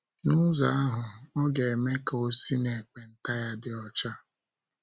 N’ụzọ ahụ, ọ ga - eme ka o si n’ekpenta ya dị ọcha.